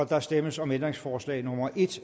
der stemmes om ændringsforslag nummer en